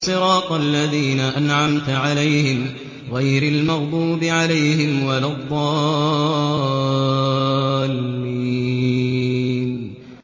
صِرَاطَ الَّذِينَ أَنْعَمْتَ عَلَيْهِمْ غَيْرِ الْمَغْضُوبِ عَلَيْهِمْ وَلَا الضَّالِّينَ